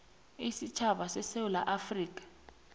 isitjhaba sesewula afrika